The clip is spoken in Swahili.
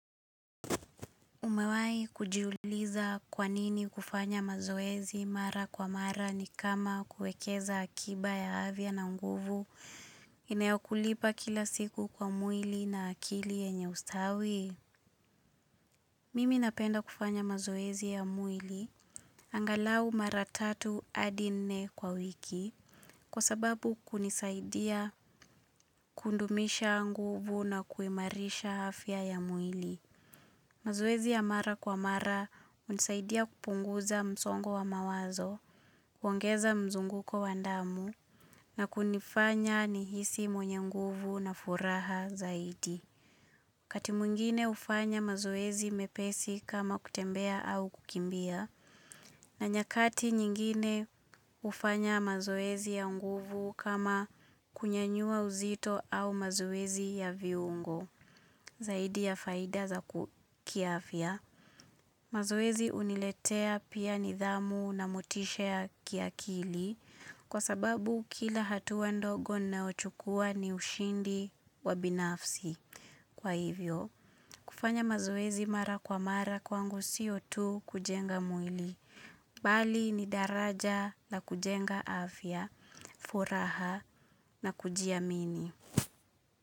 Umewahi kujiuliza kwanini kufanya mazoezi mara kwa mara ni kama kuekeza akiba ya afya na nguvu inayokulipa kila siku kwa mwili na akili yenye ustawi. Mimi napenda kufanya mazoezi ya mwili angalau mara tatu hadi nne kwa wiki kwa sababu kunisaidia kudumisha nguvu na kuhimarisha afya ya mwili. Mazoezi ya mara kwa mara unisaidia kupunguza msongo wa mawazo, kuangeza mzunguko wa damu, na kunifanya nihisi mwenye nguvu na furaha zaidi. Wakati mwingine ufanya mazoezi mepesi kama kutembea au kukimbia, na nyakati nyingine ufanya mazoezi ya nguvu kama kunyanyua uzito au mazoezi ya viungo zaidi ya faida za kiafya. Mazwezi uniletea pia nidhamu na motisha kia kili kwa sababu kila hatua ndogo ninayochukua ni ushindi wa binafsi. Kwa hivyo, kufanya mazoezi mara kwa mara kwangu sio tu kujenga mwili. Bali ni daraja na kujenga afya, furaha na kujiamini.